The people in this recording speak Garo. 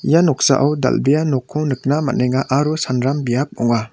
ia noksao dal·bea nokko nikna man·enga aro sanram biap ong·a.